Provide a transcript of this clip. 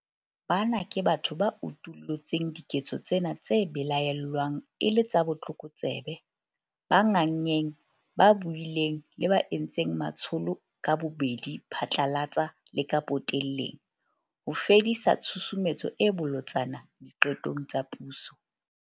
Bana ke batho ba utullutseng diketso tsena tse belaellwang e le tsa botlokotsebe, ba nganngeng, ba buileng le ba entseng matsholo ka bobedi phatlalatsa le ka potelleng - ho fedisa tshusumetso e bolotsana diqetong tsa puso.